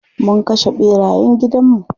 Mun kashe ɓerayen gidan mu.